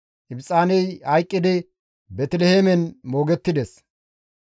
Ibxaaney hayqqidi Beeteliheemen moogettides.